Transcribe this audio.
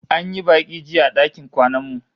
An yi baki jiya a dakin kwanan mu